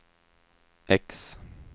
X